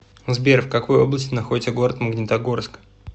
сбер в какой области находится город магнитогорск